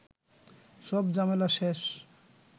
সব ঝামেলা শেষ